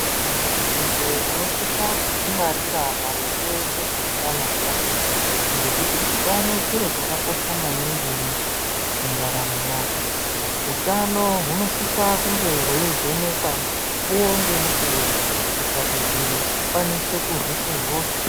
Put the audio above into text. Muntu njee unosisa kudzingwarira maringe ngezveutano ngekuti utano chiro chakakosha maningi mundaramo mwako. Utano hunosisa kunge hweivhenekwa mukuwo ngemukuwo kuitira kuti ukwanise kurwise hosha.